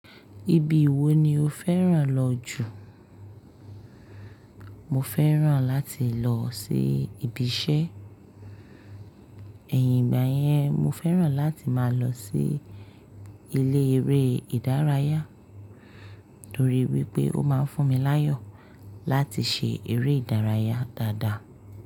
Ibi wo ni o fẹ́ràn lọ jù? Mo fẹ́ràn láti lọ sí ibi iṣẹ́, ẹ̀yin ìgbà yẹn mo fẹ́ràn láti máa lọ sí ilé eré ìdárayá nítorí wípé ó máa ń fún mi láyọ̀ láti ṣe eré ìdárayá dáadáa.